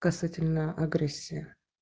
касательно агрессия